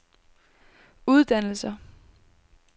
uddannelser